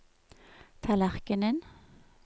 tallerkenen